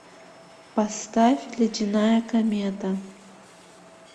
поставь ледяная комета